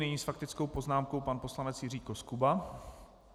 Nyní s faktickou poznámkou pan poslanec Jiří Koskuba.